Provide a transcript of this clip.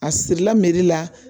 A sirila la